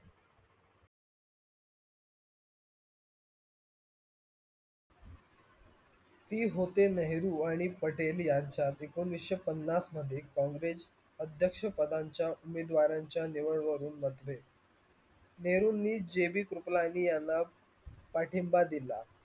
हे होते नेहरू आणि पटेल यांच्या एकोणविशे पन्नास मध्ये कॉँग्रेस अध्यक्ष पदांच्या उमेदारच्या निवड वरुण मतभेद नहेरूनी जेवी सुकलाजी यांना पाठिंबा दिल.